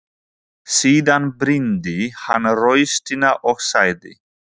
Síðan brýndi hann raustina og sagði: